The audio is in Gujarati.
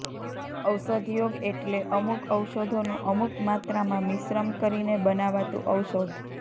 ઔષધયોગ એટલે અમુક ઔષધોનું અમુક માત્રામાં મિશ્રમ કરીને બનાવાતું ઔષધ